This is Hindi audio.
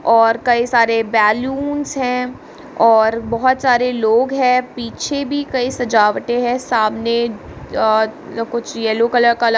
और कई सारे बैलून्स है और बहुत सारे लोग है पीछे भी कई सजावटे है सामने अअ कुछ येलो कलर का ल --